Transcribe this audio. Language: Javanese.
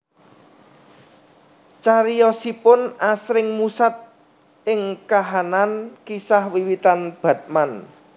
Cariyosipun asring musat ing kahanan kisah wiwitan Batman